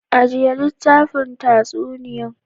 Ajiya litafin tatsuniyan.